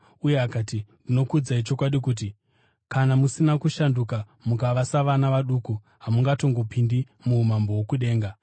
Uye akati, “Ndinokuudzai chokwadi kuti, kana musina kushanduka mukava savana vaduku, hamungatongopindi muumambo hwokudenga.